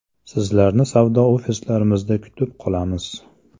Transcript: Sizlarni savdo ofislarimizda kutib qolamiz!